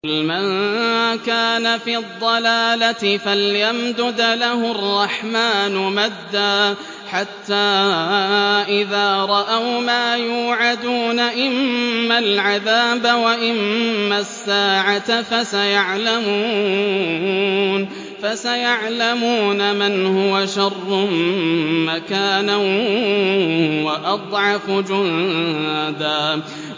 قُلْ مَن كَانَ فِي الضَّلَالَةِ فَلْيَمْدُدْ لَهُ الرَّحْمَٰنُ مَدًّا ۚ حَتَّىٰ إِذَا رَأَوْا مَا يُوعَدُونَ إِمَّا الْعَذَابَ وَإِمَّا السَّاعَةَ فَسَيَعْلَمُونَ مَنْ هُوَ شَرٌّ مَّكَانًا وَأَضْعَفُ جُندًا